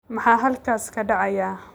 Maxaa halkaas ka dhacaya